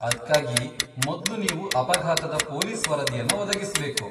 ಅದ್ಕಾಗಿ ಮೊದ್ಲು ನೀವು ಅಪಘಾತದ ಪೊಲೀಸ್ ವರದಿಯನ್ನ ಒದಗಿಸ್ಬೇಕು.